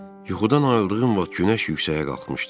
Yuxudan ayıldığım vaxt günəş yuxarıya qalxmışdı.